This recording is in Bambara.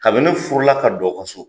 Kabini ne furu la ka don aw ka so,